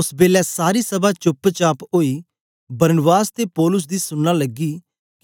ओस बेलै सारी सभा चोप्प चाप ओई बरनबास ते पौलुस दी सुनना लगी